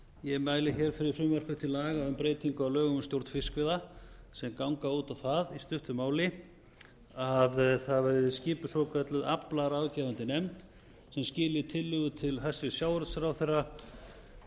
ég mæli hér fyrir frumvarpi til laga um breytingu á lögum um stjórn fiskveiða sem ganga út á það í stuttu máli að það verði skipuð svokölluð aflaráðgefandi nefnd sem skili tillögu til hæstvirts sjávarútvegsráðherra